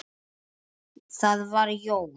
Það var Jón